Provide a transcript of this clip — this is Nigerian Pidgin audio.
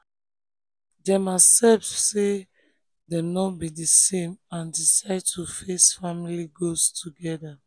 dem accept say dem no be the same and decide to face family goals together.